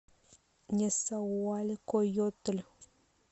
несауалькойотль